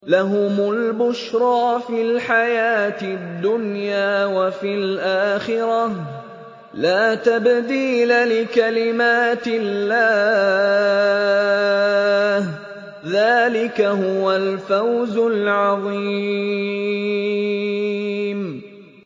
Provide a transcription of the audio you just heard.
لَهُمُ الْبُشْرَىٰ فِي الْحَيَاةِ الدُّنْيَا وَفِي الْآخِرَةِ ۚ لَا تَبْدِيلَ لِكَلِمَاتِ اللَّهِ ۚ ذَٰلِكَ هُوَ الْفَوْزُ الْعَظِيمُ